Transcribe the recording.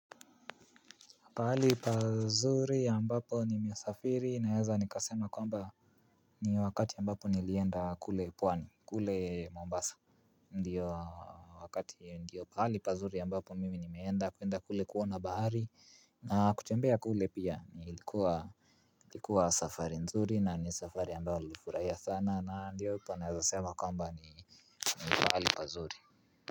Pahali pazuri ambapo nimesafiri naeza nikasema kwamba ni wakati ambapo nilienda kule pwani kule Mombasa Ndiyo wakati ndiyo pahali pazuri ambapo mimi nimeenda kuenda kule kuona bahari na kutembea kule pia nilikuwa likuwa safari nzuri na ni safari ambayo nlifurahia sana na ndiyo upo naeza sema kwamba ni pahali pazuri.